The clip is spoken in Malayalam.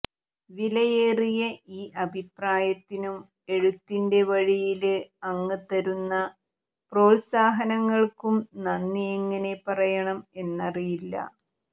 വിലയേറിയ ഈ അഭിപ്രായത്തിനും എഴുത്തിന്റെ വഴിയില് അങ്ങ് തരുന്ന പ്രോല്സാഹനങ്ങള്ക്കും നന്ദി എങ്ങനെ പറയണം എന്നറിയില്ല